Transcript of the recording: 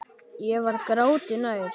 Ég var gráti nær.